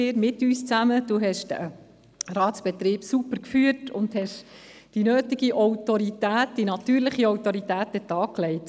Sie haben den Ratsbetrieb super geführt und die nötige, natürliche Autorität an den Tag gelegt.